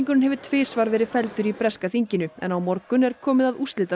hefur tvisvar verið felldur í breska þinginu en á morgun er komið að